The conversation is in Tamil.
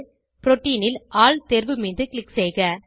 புரோட்டீன் ல் ஆல் தேர்வு மீது க்ளிக் செய்க